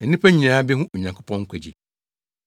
Na nnipa nyinaa behu Onyankopɔn nkwagye.’ ”